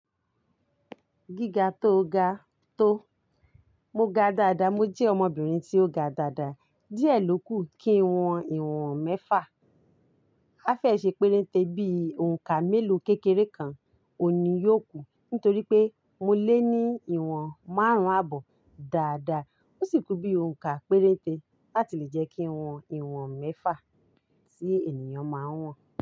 Gíga tóo ga tó. Mo ga dáadáa. Mo jẹ́ ọmọbìnrin tí ó ga dáadáa. Díẹ̀ ló kù kí wọ́n ìwọ̀n mẹ́fà. A fẹ́ẹ̀ ṣe péréte bí i òǹkà mélòó kékeré kan òun ni yóò kù, nítorí pé mo lé ní ìwọ̀n márùn-ún àbọ̀ dáadáa. Ó sì ku bí i òǹkà péréte láti lè jẹ́ kí n wọn ìwọ̀n mẹ́fà tí ènìyàn máa ń wọ̀n.